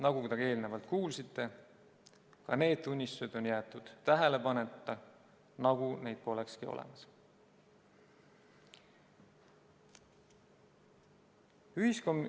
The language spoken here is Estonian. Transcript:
Nagu te eelnevalt kuulsite, ka need tunnistused on jäetud tähelepanuta, nagu neid polekski olemas.